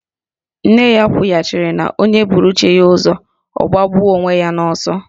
Nne ya kwughachịrị na onye buru chi ya ụzọ, onye ahụ agbagbuo onwe ya n'ọsọ.